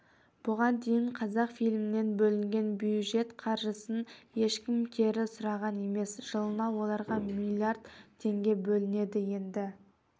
бұған дейін қазақфильмнен бөлінген бюджет қаржысын ешкім кері сұраған емес жылына оларға млдр теңге бөлінеді енді